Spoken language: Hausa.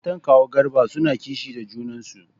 Matan kawu Garba suna kishi da junan su.